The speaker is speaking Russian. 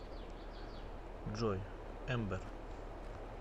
джой эмбер